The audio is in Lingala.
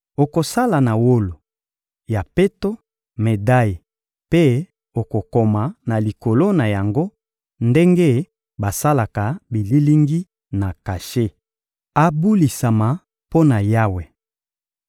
Okosala na wolo ya peto medaye mpe okokoma na likolo na yango ndenge basalaka bililingi na kashe: abulisama mpo na Yawe.